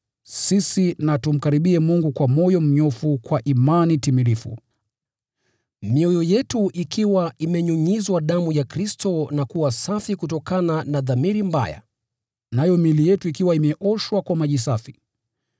sisi na tumkaribie Mungu kwa moyo mnyofu kwa imani timilifu, mioyo yetu ikiwa imenyunyizwa damu ya Kristo na kuwa safi kutokana na dhamiri mbaya nayo miili yetu ikiwa imeoshwa kwa maji safi.